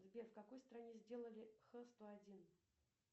сбер в какой стране сделали хэ сто один